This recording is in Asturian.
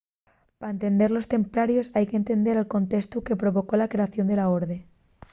pa entender a los templarios hai qu’entender el contestu que provocó la creación de la orde